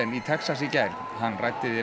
í Texas í gær hann ræddi við